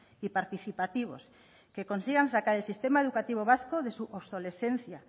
y participativos que consigan sacar el sistema educativo vasco de su obsolescencia